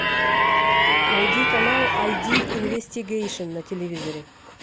найди канал ай ди инвестигейшн на телевизоре